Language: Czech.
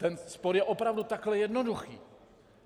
Ten spor je opravdu takhle jednoduchý.